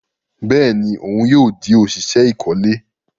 Bẹẹni òun yóò di oṣiṣẹ ikole